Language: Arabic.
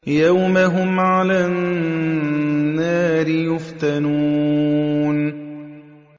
يَوْمَ هُمْ عَلَى النَّارِ يُفْتَنُونَ